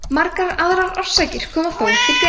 margar aðrar orsakir koma þó til greina